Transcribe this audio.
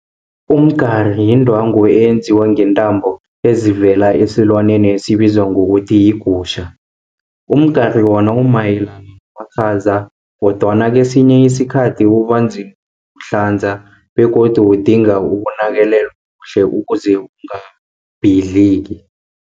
Umgari yindwangu eyenziwa ngeentambo ezivela esilwaneni esibizwa ngokuthi yigutjha. Umgari wona umayelana namakhaza, kodwana kesinye isikhathi ubanzima ukuwuhlanza, begodu udinga ukunakelelwa kuhle ukuze ungabhidliki.